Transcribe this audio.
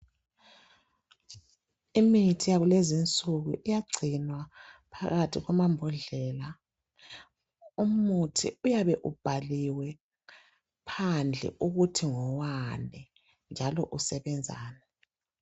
imithi yakulezisuku uyagcinwa phakathi kwamambodlela umuthi uyabe ubhaliwe phandle ukuthi ngowani njalo usebenzani